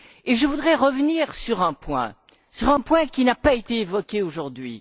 Je voudrais revenir sur un point qui n'a pas été évoqué aujourd'hui.